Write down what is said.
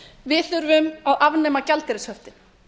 við þurfum að afnema gjaldeyrishöftin